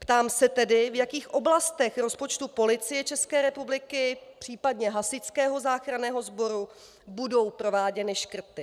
Ptám se tedy, v jakých oblastech rozpočtu Policie České republiky, případně Hasičského záchranného sboru, budou prováděny škrty.